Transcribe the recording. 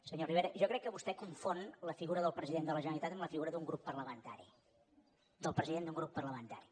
senyor rivera jo crec que vostè confon la figura del president de la generalitat amb la figura d’un grup parlamentari del president d’un grup parlamentari